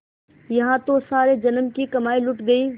यहाँ तो सारे जन्म की कमाई लुट गयी